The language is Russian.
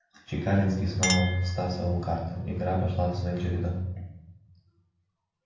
чекалинский снова стасовал карты игра пошла своим чередом